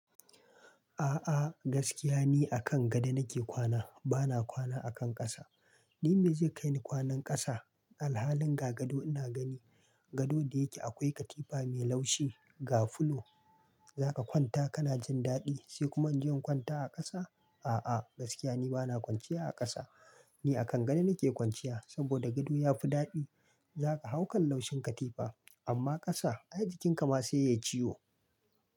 A'a gaskiya ni a kan gado nake kwana bana kwana akan ƙasa. Ni me zai kai ni kwanan ƙasa? Alhalin ga gado ina gani. Gado da yake akwai katifa mai laushi, ga fulo za ka kwanta kana jin daɗi sai kuma inje in kwanta a ƙasa. A'a gaskiya ni bana kwanciya a ƙasa. Ni a kan gado nake kwanciya saboda gado yafi daɗi. Zaka hau kan laushin katifa amma ƙasa ai jikinka ma sai yayi ciwo.